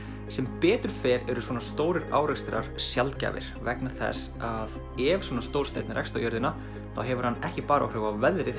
sem betur fer eru svona stórir árekstrar sjaldgæfir vegna þess að ef svona stór steinn rekst á jörðina þá hefur hann ekki bara áhrif á veðrið